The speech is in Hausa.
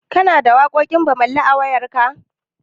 Kana da waƙoƙin Bammali a wayarka?